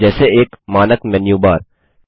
जैसे एक मानक मेनू बार है